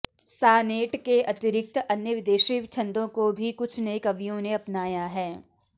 senate के अतिरिक्त अन्य विदेशी छन्दों को भी कुछ नये कवियों ने अपनाया है